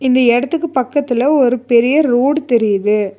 இந்த எடத்துக்கு பக்கத்துல ஒரு பெரிய ரோடு தெரியுது.